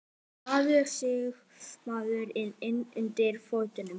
Maður er einsog maður er innan undir fötunum.